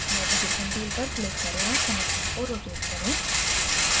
navigation tool पर click करें और संरचना को rotate करें